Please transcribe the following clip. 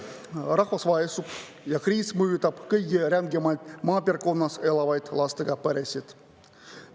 Rahvas vaesub ja kriis mõjutab kõige rängemalt maapiirkonnas elavaid lastega peresid.